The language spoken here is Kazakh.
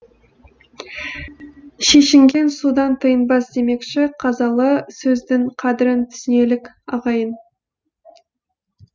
шешінген судан тайынбас демекші қазалы сөздің қадірін түсінелік ағайын